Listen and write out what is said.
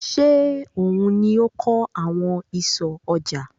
Ṣé òun ni ó kan àwọn ìsọ̀ ọjà?